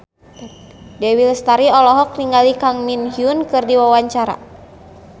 Dewi Lestari olohok ningali Kang Min Hyuk keur diwawancara